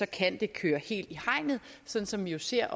kan det køre helt i hegnet sådan som vi jo ser